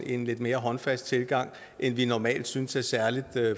en lidt mere håndfast tilgang end vi normalt synes er særlig